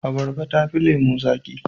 Abarba tafi lemo zaki.